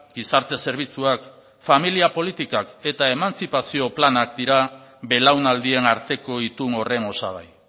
gizarte zerbitzuak familia politikak eta emantzipazio planak dira belaunaldien arteko itun horren osagai